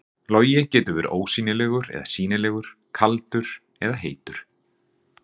Logi getur verið ósýnilegur eða sýnilegur, kaldur eða heitur.